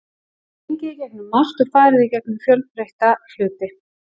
Við höfum gengið í gegnum margt og farið í gegnum fjölbreytta hluti.